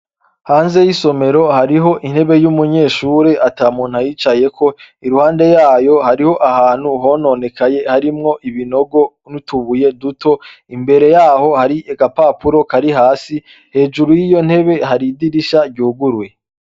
Hanze y'isomero, hariho intebe y'umunyeshure ata muntu ayicayeko. Iruhande yayo, hariho ahantu hononekaye , harimwo ibinogo n'utubuye duto. Imbere y'aho, hari agapapuro kari hasi, hejuru y'iyo ntebe har'idirisha ryuguruye.